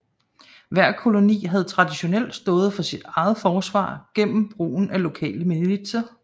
Hver koloni havde traditionelt stået for sit eget forsvar gennem brugen af lokale militser